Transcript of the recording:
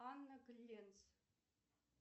анна гленц